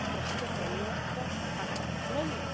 Prostě pro mě to tak není.